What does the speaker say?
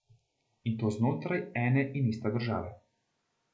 In to znotraj ene in iste države.